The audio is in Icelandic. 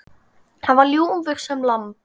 Hann var ljúfur sem lamb.